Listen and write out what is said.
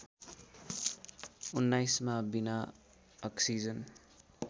१९ मा बिना अक्सिजन